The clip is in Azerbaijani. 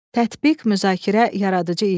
Tətbiq, müzakirə, yaradıcı iş.